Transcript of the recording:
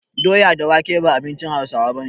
Doya da wake ba abinci Hausawa bane